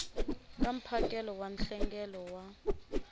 ka mphakelo wa nhlengelo wa